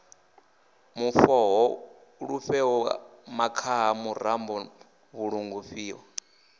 mufhoho luvhele makhaha murambo ṱhungulifha